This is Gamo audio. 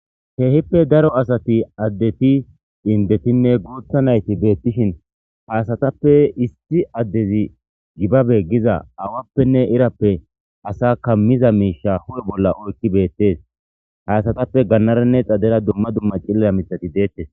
Keehippe daro asati addeti indetinne guutha nayti beettishin haasatappe isti addezi gibabe giza awappenne irappe asa kammiza miisha hu7e bolla oykki beettes haasatappe gannaranne xadera dumma dumma cillara mixati deettes.